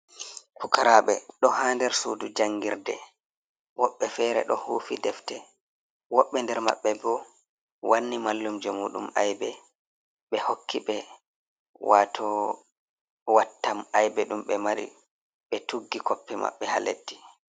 Pukaraɓe ɗo ha nder sudu jangirde, woɓɓe fere ɗo hufi defte, woɓɓe nder maɓɓe bo wanni mallumju muɗum aybe, ɓe hokki ɓe wato wattam aybe ɗum be mari, ɓe tuggi koppe maɓɓe ha leddi.